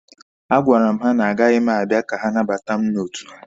A gwara m ha na agaghị m abịa ka ha nabata mụ n'otu ha.